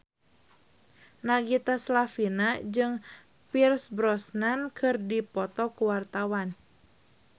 Nagita Slavina jeung Pierce Brosnan keur dipoto ku wartawan